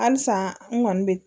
Halisa n kɔni bɛ